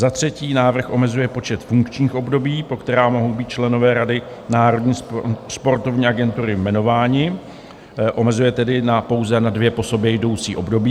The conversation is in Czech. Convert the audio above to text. Za třetí, návrh omezuje počet funkčních období, po která mohou být členové Rady Národní sportovní agentury jmenováni, omezuje tedy pouze na dvě po sobě jdoucí období.